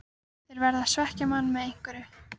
Þeir verða að svekkja mann með einhverju.